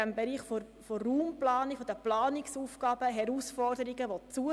Im Bereich der Raumplanung und der Planungsaufgaben nehmen die Herausforderungen zu.